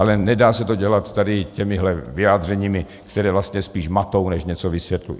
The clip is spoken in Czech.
Ale nedá se to dělat tady těmihle vyjádřeními, která vlastně spíš matou než něco vysvětlují.